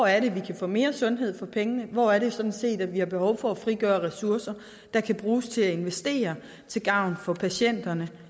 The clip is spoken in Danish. er vi kan få mere sundhed for pengene og hvor det sådan set er vi har behov for at frigøre ressourcer der kan bruges til at investere til gavn for patienterne